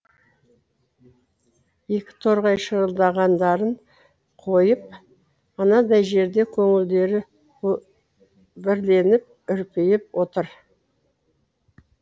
екі торғай шырылдағандарын қойып анадай жерде көңілдері бірленіп үрпиіп отыр